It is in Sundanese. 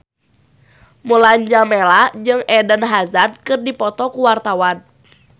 Mulan Jameela jeung Eden Hazard keur dipoto ku wartawan